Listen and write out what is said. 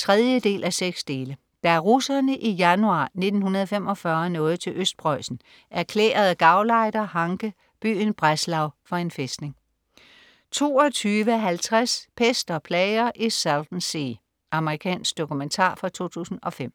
3:6. Da russerne i januar 1945 nåede til Østpreussen, erklærede gauleiter Hanke byen Breslau for en fæstning 22.50 Pest og plager i Salton Sea. Amerikansk dokumentar fra 2005